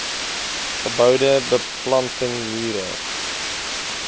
geboue beplanting mure